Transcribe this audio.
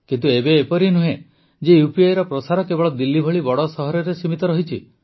କିନ୍ତୁ ଏବେ ଏପରି ନୁହେଁ ଯେ UPIର ପ୍ରସାର କେବଳ ଦିଲ୍ଲୀ ଭଳି ବଡ଼ ସହରରେ ହିଁ ସୀମିତ ରହିଛି